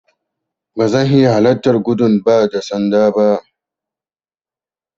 Ba zan iya halarta gudun ba da sanda ba.